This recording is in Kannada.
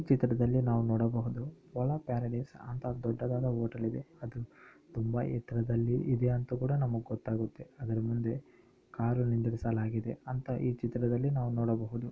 ಚಿತ್ರದಲ್ಲಿ ನಾವ್ ನೋಡಬಹುದು ಪೊಲ ಪ್ಯಾರಡೈಸ್ ಅಂತ ದೊಡ್ಡದಾದ ಹೋಟೆಲ್ ಇದೆ ಅದು ತುಂಬಾ ಎತ್ರದಲ್ಲಿ ಇದೆ ಅಂತ ಕೂಡ ನಮುಗ್ ಗೊತ್ತಾಗುತ್ತೆ ಅದ್ರ ಮುಂದೆ ಕಾರು ನಿಂದ್ರಿಸಲಾಗಿದೆ ಅಂತ ಈ ಚಿತ್ರದಲ್ಲಿ ನೋಡಬಹುದು.